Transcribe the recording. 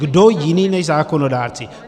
Kdo jiný než zákonodárci?